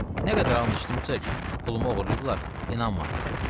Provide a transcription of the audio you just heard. Nə qədər an içdimcə ki, pulumu oğurlayıblar, inanmadı.